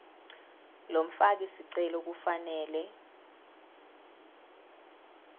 lomfaki sicelo kufanele